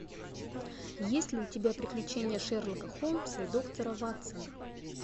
есть ли у тебя приключения шерлока холмса и доктора ватсона